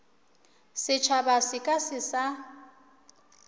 setšhaba se ka se sa